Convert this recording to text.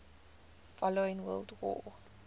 following world war